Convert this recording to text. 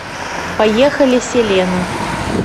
поехали селена